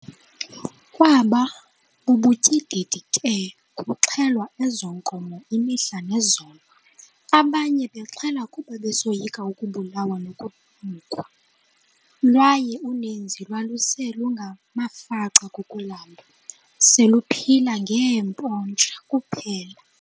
Kwaba bubutyididi ke kuxhelwa ezo nkomo imihla nezolo, abanye bexhela kuba besoyika ukubulawa nokunukwa, lwaye uninzi lwaluse lungamafaca kukulamba, seluphila ngee"mpontsha" kuphela.